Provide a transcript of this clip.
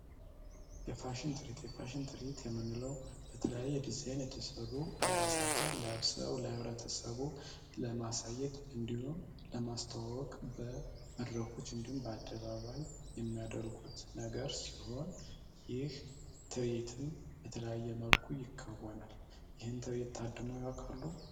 የፋሽን ትርዒት የፋሽን ትርዒት የምንለው በተለያየ ዲዛይን የተሰሩ አልባሳትን ለብሰው ህብረተሰቡ ለማሳየት እንዲሁም ለማስታወቅ በመድረኮች እንዲሁም በአደባባይ የሚያደርጉት ነገር ሲሆን ይህ ትርዒትም በተለያየ መልኩ ይከናወናል። ይህን ትርዒት ታድመው ያዉቃሉ?